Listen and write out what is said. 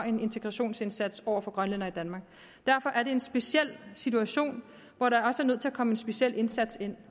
en integrationsindsats over for grønlændere i danmark derfor er det en speciel situation hvor der også er nødt til at komme en speciel indsats ind